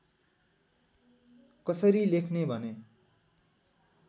कसरी लेख्ने भने